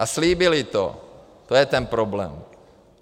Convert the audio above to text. A slíbili to, to je ten problém.